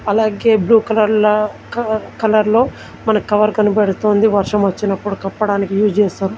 అలాగే బ్లూ కలర్లా క కలర్లో మనకు కవర్ కనబడుతుంది వర్షం వచ్చినప్పుడు కప్పడానికి యూస్ చేస్తరు.